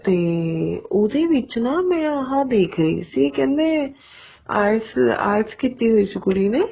ਤੇ ਉਹਦੇ ਵਿੱਚ ਨਾ ਮੈਂ ਆ ਦੇਖ ਰਹੀ ਸੀ ਕਹਿੰਦੇ IELTS IELTS ਕੀਤੀ ਹੋਈ ਸੀ ਕੁੜੀ ਨੇ